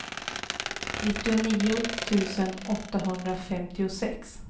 nittionio tusen åttahundrafemtiosex